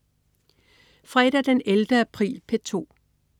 Fredag den 11. april - P2: